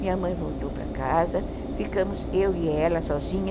Minha mãe voltou para casa, ficamos eu e ela sozinha.